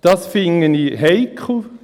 Das finde ich heikel.